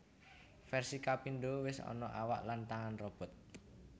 Versi kapindo wis ana awak lan tangan robot